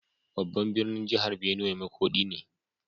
Babban birnin jihar Benue makodi ne.